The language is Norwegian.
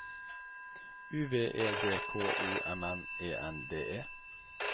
U V E D K O M M E N D E